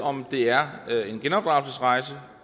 om det er en genopdragelsesrejse